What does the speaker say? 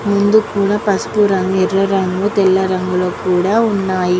ముందూ కూడా పసుపు రంగులో ఎర్ర రంగు తెల్ల రంగు లో కూడా వున్నాయ్.